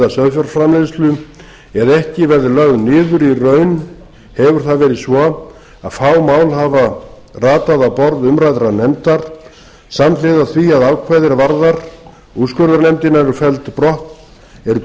sauðfjárframleiðslu eða ekki verður lögð niður í raun hefur það verið svo að á mál hafa ratað á borð umræddrar nefndar samhliða því að ákvæði er varða úrskurðarnefndina eru felld brott er